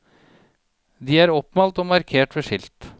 De er oppmalt og markert ved skilt.